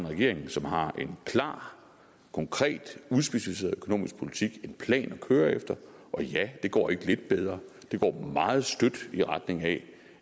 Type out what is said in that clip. regering som har en klar konkret udspecificeret økonomisk politik en plan at køre efter og ja det går ikke lidt bedre det går meget støt i retning af